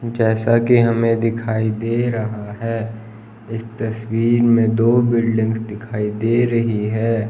जैसा कि हमें दिखाई दे रहा है इस तस्वीर में दो बिल्डिंग दिखाई दे रही है।